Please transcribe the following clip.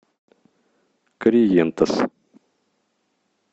корриентес